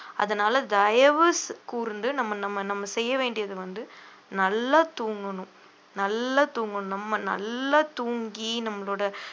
அதனால தயவுக் கூர்ந்து நம்ம நம்ம நம்ம செய்ய வேண்டியது வந்து நல்லா தூங்கணும் நல்லா தூங்கணும் நம்ம நல்லா தூங்கி நம்மளோட